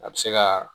A bɛ se ka